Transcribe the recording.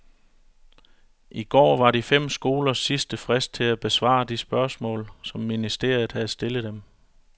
I går var de fem skolers sidste frist til at besvare de spørgsmål, som ministeriet har stillet dem.